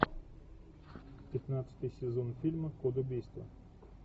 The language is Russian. пятнадцатый сезон фильма код убийства